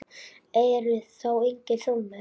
Eru þá engin þolmörk til?